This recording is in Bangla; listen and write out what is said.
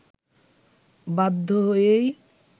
বাধ্য হয়েই